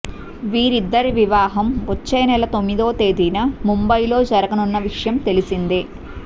వీరిద్దరి వివాహం వచ్చేనెల తొమ్మిదో తేదీన ముంబైలో జరగనున్న విషయం తెలిసిందే